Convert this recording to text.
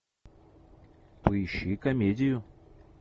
поищи комедию